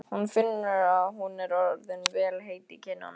Hún finnur að hún er orðin vel heit í kinnum.